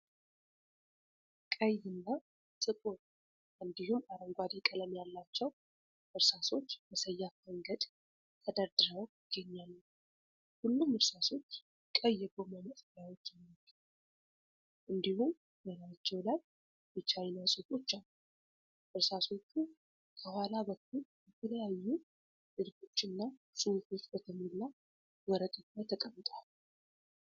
ቀይ እና ጥቁር እንዲሁም አረንጓዴ ቀለም ያላቸው እርሳሶች በሰያፍ መንገድ ተደርድረው ይገኛሉ። ሁሉም እርሳሶች ቀይ የጎማ ማጥፊያዎች አሏቸው፤ እንዲሁም በላያቸው ላይ የቻይና ጽሑፎች አሉ። እርሳሶቹ ከኋላ በኩል በተለያዩ ንድፎችና ጽሑፎች በተሞላ ወረቀት ላይ ተቀምጠዋል።